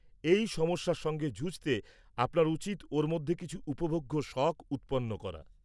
-এই সমস্যার সঙ্গে যুঝতে আপনার উচিৎ ওর মধ্যে কিছু উপভোগ্য শখ উৎপন্ন করা।